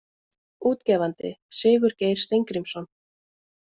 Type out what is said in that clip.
Útgefandi Sigurgeir Steingrímsson.